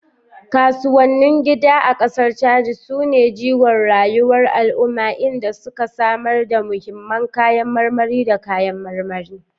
Kasuwannin gida a kasar Chadi su ne jigon rayuwar al'umma, inda suke samar da muhimman kayan marmari da kayan marmari.